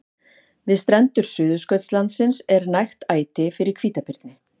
Við strendur Suðurskautslandsins er nægt æti fyrir hvítabirni.